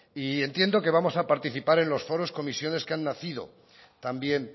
entiendo que vamos a participar en los foros y comisiones que han nacido también